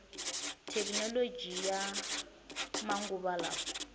thekinoloji ya ya manguva lawa